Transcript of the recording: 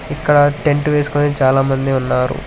ఇక్కడ టెంట్ వేసుకొని చాలామంది ఉన్నారు.